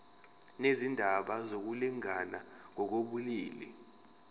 nezindaba zokulingana ngokobulili